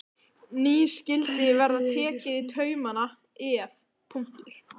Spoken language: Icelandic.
Nú skyldi verða tekið í taumana, ef.